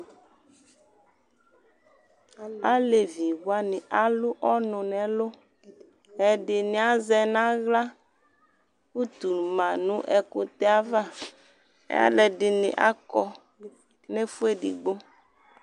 Alevi wani alʋ ɔnu nʋ ɛlʋƐdini azɛ naɣlaUtu manʋ ɛkutɛɛ'avaAlu ɛdini akɔ nɛfuedigbo